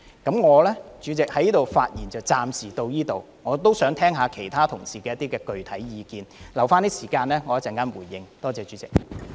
代理主席，我的發言暫時到此為止，我也想聽聽其他同事的具體意見，餘下的發言時間，我會留待稍後作回應，多謝代理主席。